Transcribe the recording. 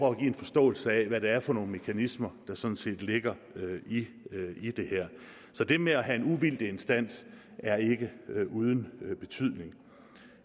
at give en forståelse af hvad det er for nogle mekanismer der sådan set ligger i det her så det med at have en uvildig instans er ikke uden betydning